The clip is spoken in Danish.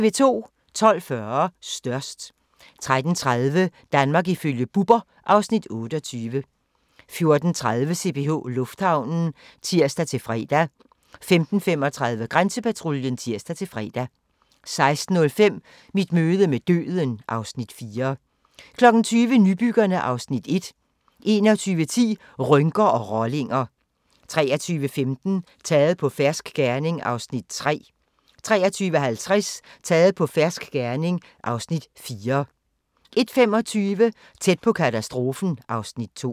12:40: Størst 13:30: Danmark ifølge Bubber (Afs. 28) 14:30: CPH Lufthavnen (tir-fre) 15:35: Grænsepatruljen (tir-fre) 16:05: Mit møde med døden (Afs. 4) 20:00: Nybyggerne (Afs. 1) 21:10: Rynker og rollinger 23:15: Taget på fersk gerning (Afs. 3) 23:50: Taget på fersk gerning (Afs. 4) 01:25: Tæt på katastrofen (Afs. 2)